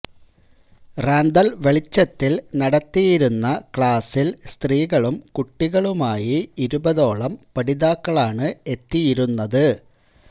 റാന്തൽ വെളിച്ചത്തിൽ നടത്തിയിരുന്ന ക്ലാസിൽ സ്ത്രീകളും കുട്ടികളുമായി ഇരുപതോളം പഠിതാക്കളാണ് എത്തിയിരുന്നത്